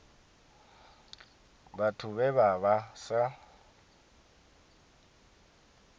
vhathu vhe vha vha sa